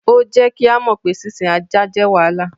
Ó jẹ́ kí á mọ pé sísìn ajá jẹ́ wàhálà.